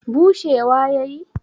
bushewa ya yi